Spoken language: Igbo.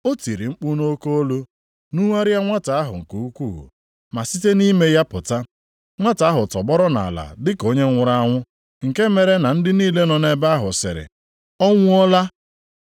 O tiri mkpu nʼoke olu, nugharịa nwata ahụ nke ukwuu ma site nʼime ya pụta. Nwata ahụ tọgbọrọ nʼala dị ka onye nwụrụ anwụ nke mere na ndị niile nọ nʼebe ahụ sịrị, “Ọ nwụọla!”